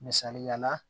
Misaliyala